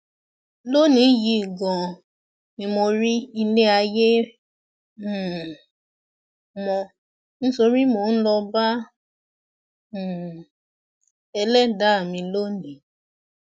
lónìí yìí ganan ni mo rí ilé ayé um mọ nítorí mò ń lọọ bá um ẹlẹdàá mi lónìí